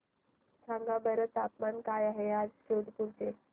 सांगा बरं तापमान काय आहे आज जोधपुर चे